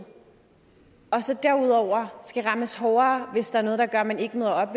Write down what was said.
derudover skal rammes hårdere hvis der er noget der gør at man ikke møder op